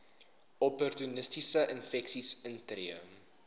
opportunistiese infeksies intree